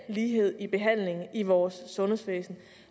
lighed i behandlingen i vores sundhedsvæsen